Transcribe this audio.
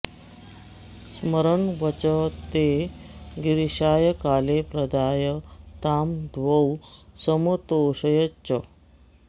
स्मरन् वचस्ते गिरिशाय काले प्रदाय तां द्वौ समतोषयच्च